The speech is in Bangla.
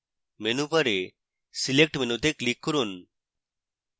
menu bar select মেনুতে click করুন